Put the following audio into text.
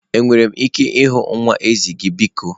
Enwere m ike ịhụ nwa ezi gị biko?